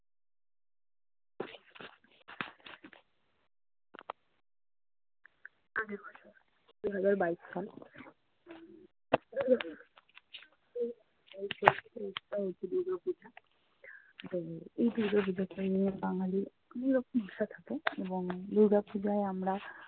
দু হাজার বাইশ সাল হচ্ছে দুর্গাপূজা। তো এই দুর্গাপূজোকে নিয়ে বাঙালির অন্য রকম নেশা থাকে এবং দুর্গাপূজায় আমরা